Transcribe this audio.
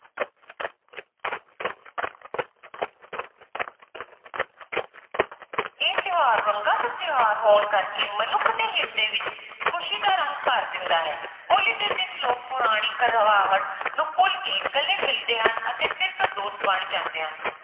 ਇਹ ਤਿਉਹਾਰ ਰੰਗਾਂ ਦਾ ਤਿਉਹਾਰ ਹੋਣ ਕਰਕੇ ਮਨੁੱਖ ਦੇ ਹਿਰਦੇ ਵਿੱਚ ਖ਼ੁਸ਼ੀ ਦਾ ਰੰਗ ਭਰ ਦਿੰਦਾ ਹੈ ਹੋਲੀ ਦੇ ਦਿਨ ਲੋਕ ਪੁਰਾਣੀ ਕੜਵਾਹਟ ਨੂੰ ਭੁੱਲ ਕੇ ਗਲੇ ਮਿਲਦੇ ਹਨ ਅਤੇ ਫਿਰ ਤੋਂ ਦੋਸਤ ਬਣ ਜਾਂਦੇ ਹਨ।